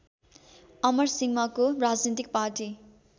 अमरसिंहको राजनीतिक पार्टी